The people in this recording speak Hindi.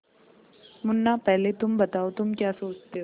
मुन्ना पहले तुम बताओ तुम क्या सोचते हो